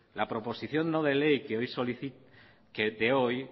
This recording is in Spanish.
la proposición no de ley